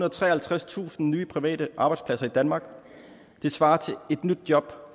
og treoghalvtredstusind nye private arbejdspladser i danmark det svarer til et nyt job